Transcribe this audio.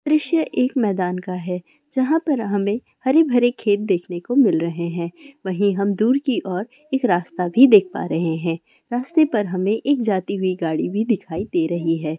दृश्य एक मैदान का है जहाँ पर हमें हरे-भरे खेत देखने को मिल रहे हैं वही हम दूर की और एक रास्ता भी देख पा रहे हैं रास्ते पर हमें एक जाती हुई गाड़ी भी दिखाई दे रही है।